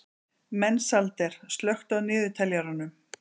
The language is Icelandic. Mensalder, slökktu á niðurteljaranum.